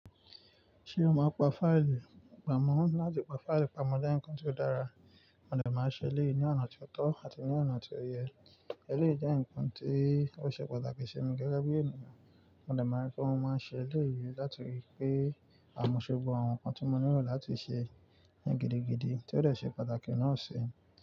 Ṣé o máa ń pa fáìlì? Pàápàá mọ́ láti pa fáìlì pamọ́ jẹ́ ǹkan tí ó dára, mo dè máa ṣe elèyí ní ọ̀nà tó tọ́ àti ní ọ̀nà tí ó yẹ. Eleyí jẹ́ ǹkan tí ó ṣe pàtàkì sí mi gẹ́gẹ́ bí ènìyàn, mo dè máa rí pé mo máa ń ṣe elèyí látirí pé àmúṣọgbọ́n àwọn ǹkan tí mo nílò láti ṣe ní gidigidi, tí ó dè ṣe pàtàkì náà ṣi.